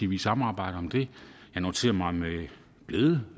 vi samarbejder om det jeg noterede mig med glæde